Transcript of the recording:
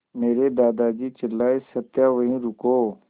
मेरे दादाजी चिल्लाए सत्या वहीं रुको